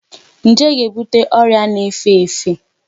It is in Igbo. Njé ga-ebute ọrịa na-efe efe.